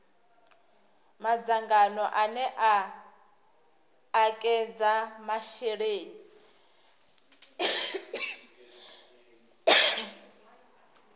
madzangano ane a ekedza masheleni